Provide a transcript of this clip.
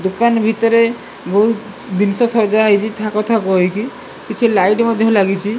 ଦୁକାନ ଭିତରେ ବହୁତ ଦିନଷ ସଜା ହୋଇଚି ଥାକ ଥାକ ହୋଇକି କିଛି ଲାଇଟ ମଧ୍ଯ ଲାଗିଚି।